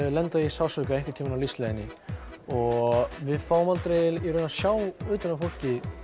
lenda í sársauka einhvern tíma á lífsleiðinni og við fáum aldrei að sjá að utan á fólki